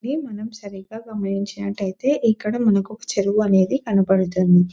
ఇది మనం సరిగ్గా గమనించినట్లయితే ఇక్కడ మనకు ఒక చెరువు అనేది కనబడుతుంది.